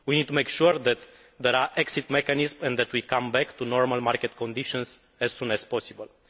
We need to make sure that there are exit mechanisms and that we come back to normal market conditions as soon as possible.